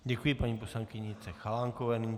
Děkuji paní poslankyni Jitce Chalánkové.